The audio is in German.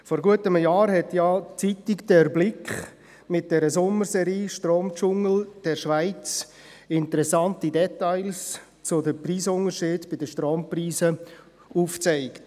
Vor gut einem Jahr zeigte «Der Blick» mit der Sommerserie «Stromdschungel der Schweiz» interessante Details zu den Preisunterschieden bei den Strompreisen auf.